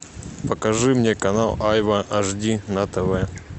покажи мне канал айва аш ди на тв